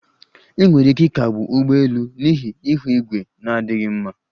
Enwere ike ịkagbu ụgbọ elu n'ihi ihu igwe na-adịghị mma